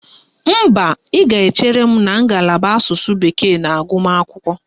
Mba, ị ga-echere m na ngalaba Asụsụ bekee na agụmagụ